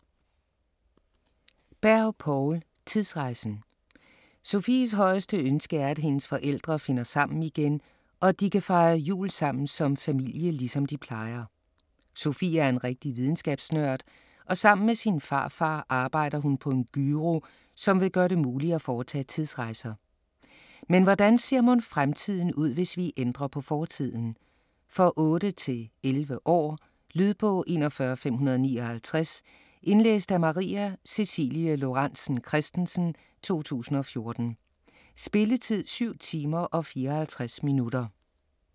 Berg, Poul: Tidsrejsen Sofies højeste ønske er, at hendes forældre finder sammen igen og at de kan fejre jul sammen som familie ligesom de plejer. Sofie er en rigtig videnskabsnørd og sammen med sin farfar arbejder hun på en gyro, som vil gøre det muligt at foretage tidsrejser. Men hvordan ser mon fremtiden ud hvis vi ændrer på fortiden? For 8-11 år. Lydbog 41559 Indlæst af Maria Cecilie Lorentzen Kristensen, 2014. Spilletid: 7 timer, 54 minutter.